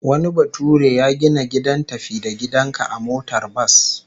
Wani bature ya gina gidan tafi-da-gidan-ka a motar bas